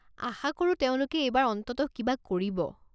আশা কৰো তেওঁলোকে এইবাৰ অন্ততঃ কিবা কৰিব।